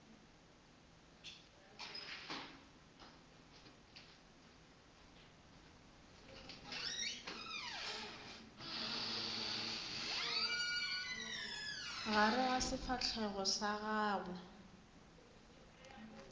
gare ga sefahlogo sa gago